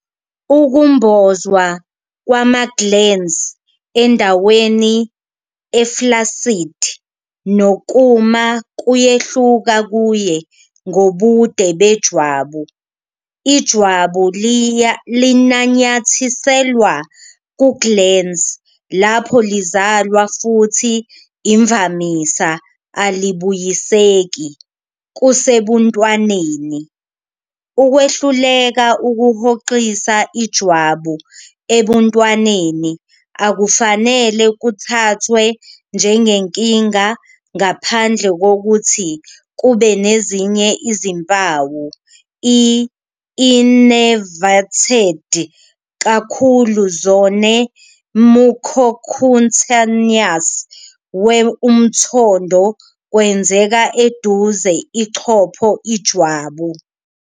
Ukumbozwa kwama-glans endaweni e-flaccid nokuma kuyehluka kuye ngobude bejwabu. Ijwabu linanyathiselwa ku-glans lapho lizalwa futhi imvamisa alibuyiseki kusebuntwaneni. Ukwehluleka ukuhoxisa ijwabu ebuntwaneni akufanele kuthathwe njengenkinga ngaphandle kokuthi kube nezinye izimpawu. I innervated kakhulu zone mucocutaneous we umthondo kwenzeka eduze ichopho ijwabu.